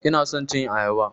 Ina son cin ayaba.